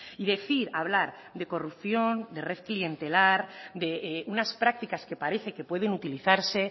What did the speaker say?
y decir hablar de corrupción de red clientelar de unas prácticas que parece que pueden utilizarse